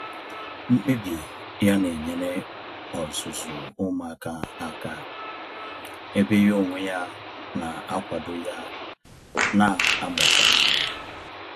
Mkpebi ya na enyere ọzụzụ umuaka aka, ebe ya onwe ya na akwado ya na agbakwa ya ume